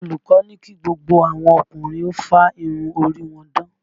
Olùkọ́ ní kí gbogbo àwọn ọkùnrin ó fá irun orí wọn dán